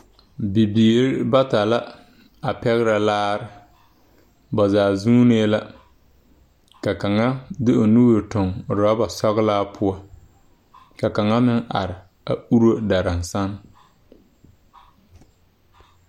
Bibiire bata la a pɛgrɛ laare ba zaa zuunee la ka kaŋa de o nuure tuŋ rɔba sɔglaa poɔ ka kaŋa meŋ are a uro daraŋsan.